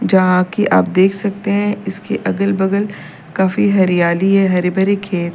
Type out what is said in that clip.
जहां की आप देख सकते है इसके अगल बगल काफी हरियाली है हरे भरे खेत--